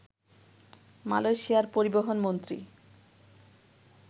মালয়েশিয়ার পরিবহনমন্ত্রী